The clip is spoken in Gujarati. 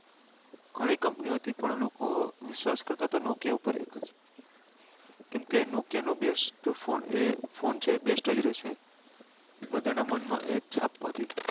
ગણી company હતી પણ લોકો વિશ્વાસ કરતા હતા nokia ઉપર અએ વખતે કેમ કે nokia નો best એ ફોન છે એ best રે છે બધા ના મન માં એ જ છાપ હતી